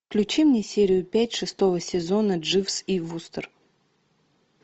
включи мне серию пять шестого сезона дживс и вустер